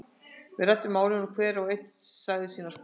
Við ræddum málin og hver og einn sagði sína skoðun.